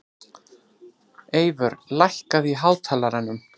Eyvör, lækkaðu í hátalaranum.